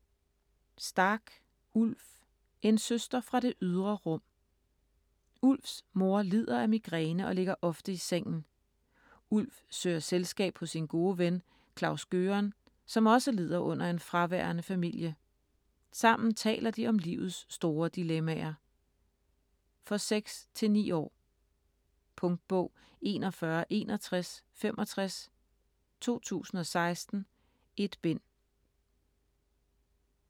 Stark, Ulf: En søster fra det ydre rum Ulfs mor lider af migræne og ligger ofte i sengen. Ulf søger selskab hos sin gode ven Klaus-Gøran, som også lider under en fraværende familie. Sammen taler de om livets store dilemmaer. For 6-9 år. Punktbog 416165 2016. 1 bind.